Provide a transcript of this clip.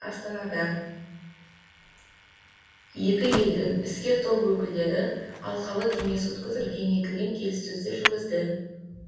астанада екі елдің іскер топ өкілдері алқалы кеңес өткізіп кеңейтілген келіссөздер жүргізді